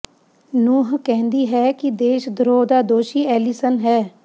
ਨੂਹ ਕਹਿੰਦੀ ਹੈ ਕਿ ਦੇਸ਼ ਧਰੋਹ ਦਾ ਦੋਸ਼ੀ ਐਲੀਸਨ ਹੈ